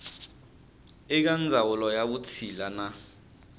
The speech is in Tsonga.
eka ndzawulo ya vutshila na